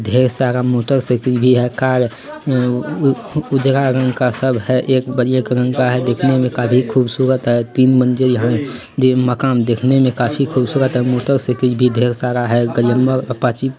ढेर सारा मोटरसाइकल भी है कार अ उ उजरा रंग का सब है। एक बढ़िया कलर का है दिखने में काफी खूबसूरत है। तीन मंजिल है दे मकान दिखने में काफी खूबसूरत है। मोटरसाइकल भी ढेर सारा है। Glamour Apache --